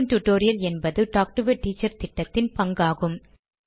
spoken tutorial என்பது talk to a teacher திட்டத்தின் பங்காகும்